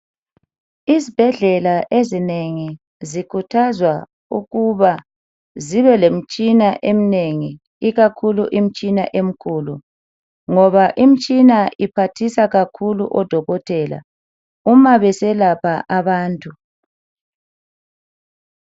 Izibhedlela ezinengi zikhuthazwa ukuba zibe lemitshini eminingi ikakhulu emkhulu imitshini ngoba iphathisa kakhulu odokotela uma beselapha abantu .